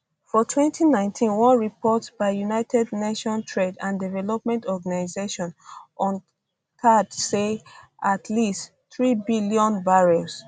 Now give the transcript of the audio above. for 2019 one report by united nations trade and development organisation unctad say at least 3 billion barrels